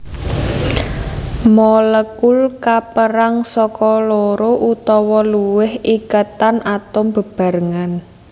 Molekul kapérang saka loro utawa luwih iketan atom bebarengan